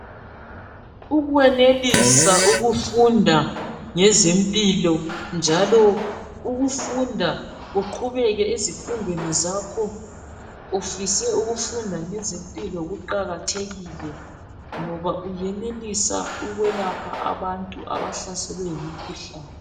Ukwenelisa ukufunda ngezempilo njalo ukufunda uqhubeke ezifundweni zakho ufise ukufunda ngezempilo kuqakathekile ngoba uyenelisa ukwelapha abantu abahlaselwe yimkhuhlani.